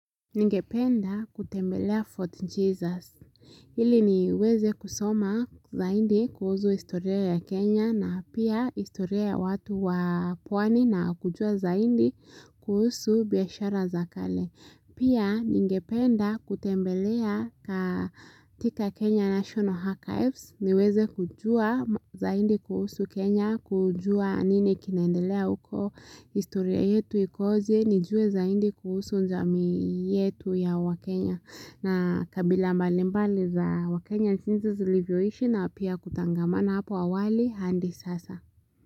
Ningependa kutembelea Fort Jesus, ili niweze kusoma zaindi kuhuzu historia ya Kenya na pia historia ya watu wa pwani na kujua zaidi kuhusu biashara za kale. Pia ningependa kutembelea katika Kenya National Archives, niweze kujua zaidi kuhusu Kenya, kujua nini kinaendelea uko historia yetu ikoje, nijue zaidi kuhusu jamii yetu ya wakenya. Na kabila mbalimbali za wakenya nchizi zilivyoishi na pia kutangamana hapo awali hadi sasa.